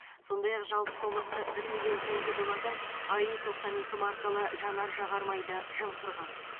сондай ақ жалпы сомасы бір миллион теңге болатын аи тоқсан екі маркалы жанар жағармайды жымқырған